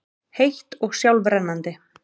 heitt og sjálfrennandi.